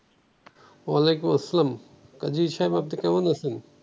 ওয়ালাইকুমুস সালাম কাজী সাহেব আপনি কেমন আছেন?